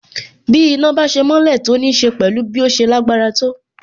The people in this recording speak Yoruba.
Bí iná bá ṣe mọ́lẹ̀ sì nííṣe pẹ̀lú bí ó ṣe lágbára tó.